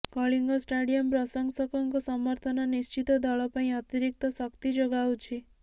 Kalinga stadium ପ୍ରଶଂସକଙ୍କ ସମର୍ଥନ ନିଶ୍ଚିତ ଦଳ ପାଇଁ ଅତିରିକ୍ତ ଶକ୍ତି ଯୋଗାଉଛି